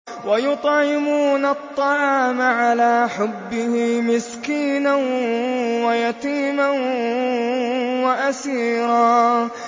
وَيُطْعِمُونَ الطَّعَامَ عَلَىٰ حُبِّهِ مِسْكِينًا وَيَتِيمًا وَأَسِيرًا